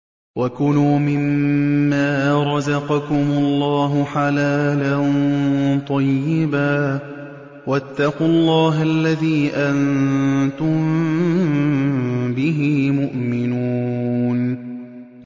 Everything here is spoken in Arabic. وَكُلُوا مِمَّا رَزَقَكُمُ اللَّهُ حَلَالًا طَيِّبًا ۚ وَاتَّقُوا اللَّهَ الَّذِي أَنتُم بِهِ مُؤْمِنُونَ